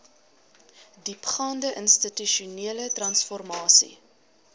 diepgaande institusionele transformasie